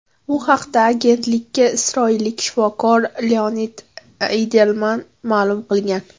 Bu haqda agentlikka isroillik shifokor Leonid Eydelman ma’lum qilgan.